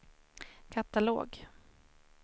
katalog